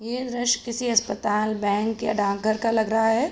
ये ड्रेस किसी अस्पताल बैंक या डाक घर लग रहा है।